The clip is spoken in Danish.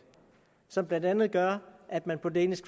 som blandt andet gør at man på danish